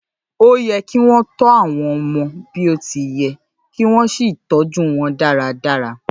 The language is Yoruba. Óye kí wọn tó àwọn ọmọ bí o ti yẹ kí wọn sì tọjú wọn dáradára